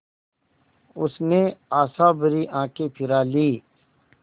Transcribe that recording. उसने आशाभरी आँखें फिरा लीं